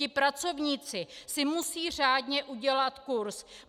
Ti pracovníci si musí řádně udělat kurz.